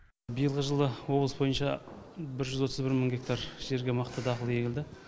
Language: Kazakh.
биылғы жылы облыс бойынша бір жүз отыз бір мың гектар жерге мақта дақылы егілді